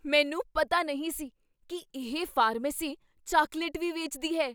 ਮੈਨੂੰ ਪਤਾ ਨਹੀਂ ਸੀ ਕੀ ਇਹ ਫਾਰਮੇਸੀ ਚਾਕਲੇਟ ਵੀ ਵੇਚਦੀ ਹੈ!